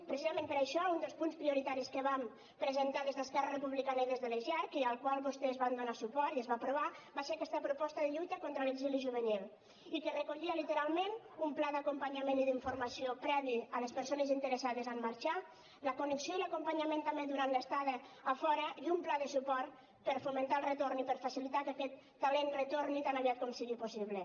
precisament per això un dels punts prioritaris que vam presentar des d’esquerra republicana i des de les jerc i al qual vostès van donar suport i es va aprovar va ser aquesta proposta de lluita contra l’exili juvenil i que recollia literalment un pla d’acompanyament i d’informació previ a les persones interessades a marxar la connexió i l’acompanyament també durant l’estada a fora i un pla de suport per fomentar el retorn i per facilitar que aquest talent retorni tan aviat com sigui possible